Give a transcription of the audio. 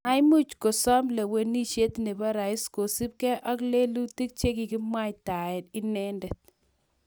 Maimuch kosoom lewenisiet nebo rais kosubkei ak lelutik che kikakimwaitae inendet